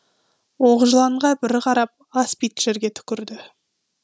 оқжыланға бір қарап аспид жерге түкірді